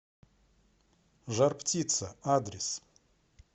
жар птица адрес